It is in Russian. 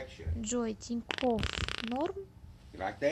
джой тинькофф норм